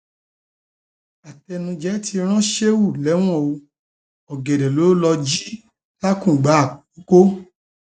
àtẹnuje ti ran sheu lẹwọn o ọgẹdẹ ló lọọ jí làkùngbà àkọkọ